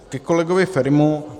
Ke kolegovi Ferimu.